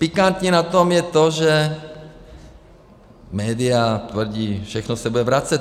Pikantní na tom je to, že média tvrdí: Všechno se bude vracet!